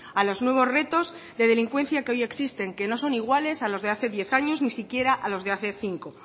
a los nuevos retos de delincuencia que hoy existen que no son iguales a los de hace diez años ni siquiera a los de hace cinco